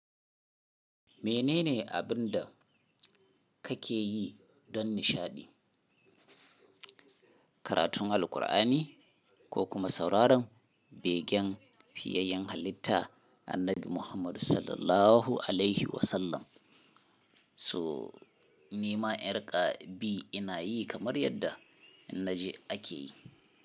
Menene abin da kake yi don nishaɗi? Karatun Alqur'ani ko kuma sauraron begen fiyayen halitta annabi Muhammadu Sallallahu Alaihi Wasallam. So ni ma ƴar ƙa bi ina yi kamar yadda naji ake yi.